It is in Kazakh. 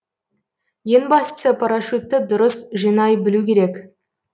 ең бастысы парашютті дұрыс жинай білу керек